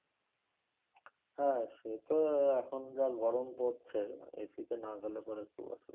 হ্যাঁ সেতো এখন যা গরম পড়ছে AC তে না গেলে পরে খুব অসুবিধা।